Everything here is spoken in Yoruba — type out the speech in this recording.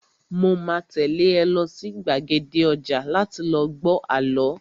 Mo máa tẹ́lé ẹ lọ sí gbàgede ọjà láti lọ gbọ àlọ́